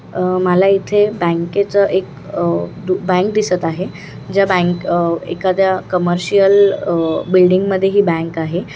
अ माला इथे बँकेच एक अ बँक दिसत आहे ज्या बँक अ एकाद्या कमर्शियल अ बिल्डिंग मध्ये ही बँक आहे.